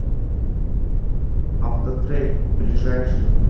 автотрейд ближайший